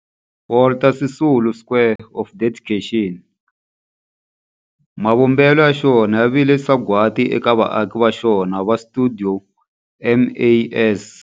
Walter Sisulu Square of Dedication, mavumbelo ya xona ya vile sagwadi eka vaaki va xona va stuidio MAS.